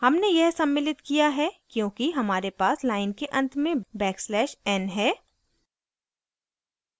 हमने यह सम्मिलित किया है क्योंकि हमारे पास line के अंत में backslash n है